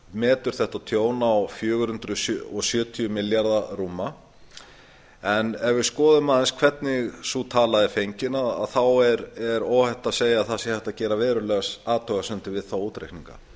þetta tjón metið á rúma fjögur hundruð sjötíu milljarða en ef við skoðum aðeins hvernig sú tala er fengin er óhætt að segja að það sé hægt að gera verulegar athugasemdir við þá útreikninga